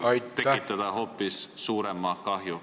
... võib tekitada hoopis suurema kahju.